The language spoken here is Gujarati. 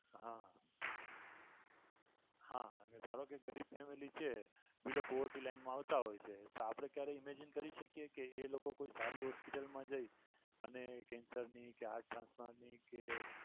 હા હા એટલે ધારોકે ગરીબ family છે below poverty line મા આવતા હોય છે તો આપણે ક્યારેય imagine કરી શકીએ કે એ લોકો કોઈ સારી hospital મા જઈ અને cancer ની કે હાર્ટ ટ્રાન્સપ્લાન્ટ ની કે